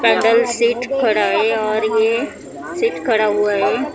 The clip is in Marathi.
पैंडेल सिट खडा है और ये सिट खडा हुआ है .